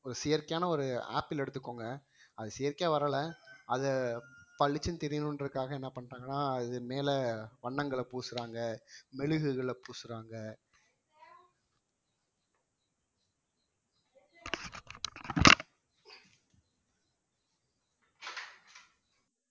ஒரு செயற்கையான ஒரு apple எடுத்துக்கோங்க அது செயற்கையா வரலை அதை பளிச்சுன்னு தெரியணுன்றதுக்காக என்ன பண்றாங்கன்னா இது மேல வண்ணங்களை பூசறாங்க மெழுகுகளை பூசறாங்க